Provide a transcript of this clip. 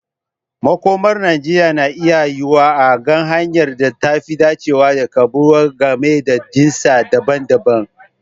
Makomar Najeriya na iya yiwuwa a ga hanyar da ta fi dacewa da karbuwa game da jinsi daban-daban.